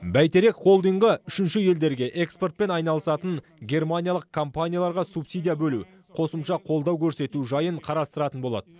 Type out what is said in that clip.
бәйтерек холдингі үшінші елдерге экспортпен айналысатын германиялық компанияларға субсидия бөлу қосымша қолдау көрсету жайын қарастыратын болады